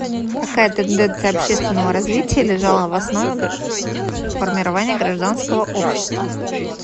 какая тенденция общественного развития лежала в основе формирования гражданского общества